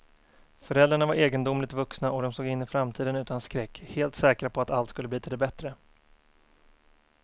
Föräldrarna var egendomligt vuxna och de såg in i framtiden utan skräck, helt säkra på att allt skulle bli till det bättre.